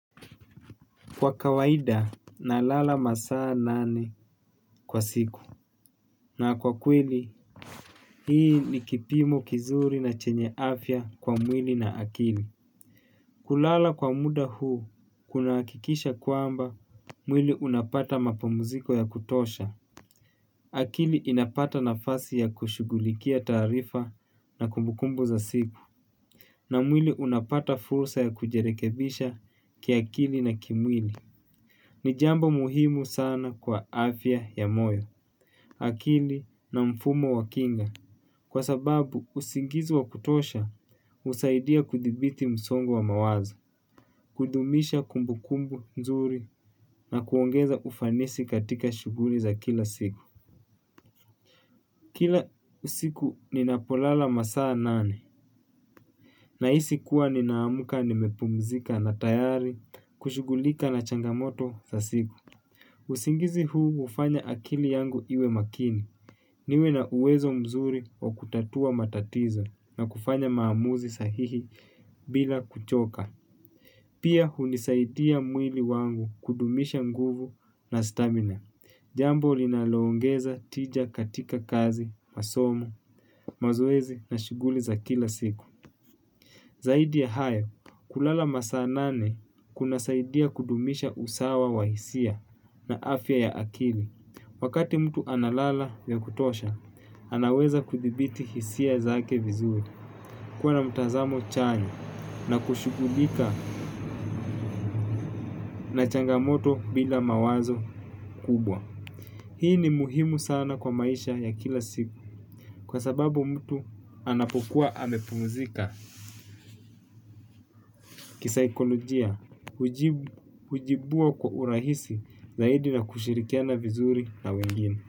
Kwa kawaida, nalala masaa nane kwa siku. Na kwa kweli, hii ni kipimo kizuri na chenye afya kwa mwili na akili. Kulala kwa muda huu, kunahakikisha kuamba mwili unapata mapamuziko ya kutosha. Akili inapata nafasi ya kushughulikia tarifa na kumbukumbu za siku. Na mwili unapata fursa ya kujirekebisha kiakili na kimwili. Ni jambo muhimu sana kwa afya ya moyo akili na mfumo wa kinga, kwa sababu usingizi wa kutosha husaidia kudhibiti msongo wa mawazo, kudumisha kumbu kumbu nzuri na kuongeza ufanisi katika shughuli za kila siku. Kila usiku ninapolala masaa nane nahisi kuwa ninaamka nimepumzika na tayari kushughulika na changamoto za siku. Usingizi huu hufanya akili yangu iwe makini. Niwe na uwezo mzuri wa kutatua matatizo na kufanya maamuzi sahihi bila kuchoka. Pia hunisaidia mwili wangu kudumisha nguvu na stamina. Jambo linaloongeza tija katika kazi, masomo, mazoezi na shughuli za kila siku zaidi ya haya, kulala masaa nane kuna saidia kudumisha usawa wa hisia na afya ya akili. Wakati mtu analala ya kutosha, anaweza kudhibiti hisia zake vizuri kuwa na mtazamo chanya na kushuggulika na changamoto bila mawazo kubwa. Hii ni muhimu sana kwa maisha ya kila siku. Kwa sababu mtu anapokuwa amepumuzika kisaikolojia hujibua kwa urahisi zaidi na kushirikiana vizuri na wengine.